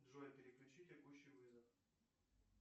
джой переключи текущий вызов